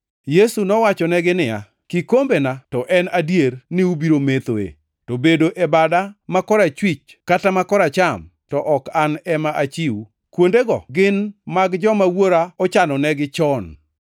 Yesu nowachonegi niya, “Kikombena to en adier ni ubiro methoe, to bedo e bada ma korachwich kata ma koracham ok an ema achiw. Kuondego gin mag joma Wuora ochano negi chon.”